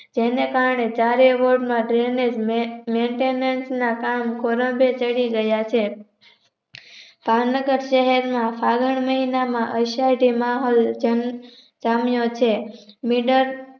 જેને કારણે ચારેય Word માં Drainage Maintenance ના કામ ખોરડે ચડી ગયા છે. ભાવનગર શહેર ના ફાગણ મહિનાના અષાઢી માહોલ જામ્યો છે. મિડક